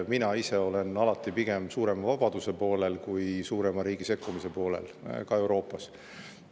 Mina ise olen alati pigem suurema vabaduse poolel kui riigi suurema sekkumise poolel, ka Euroopas.